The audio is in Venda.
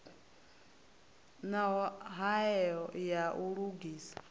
na hoea ya u lugisa